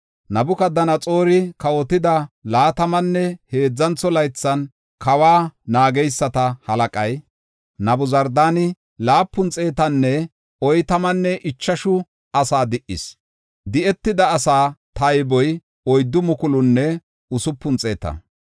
Nabukadanaxoori kawotida laatamanne heedzantho laythan kawa naageysata halaqay Nabuzardaani laapun xeetanne oytamanne ichashu asaa di77is. Di7etida asa tayboy oyddu mukulunne usupun xeeta.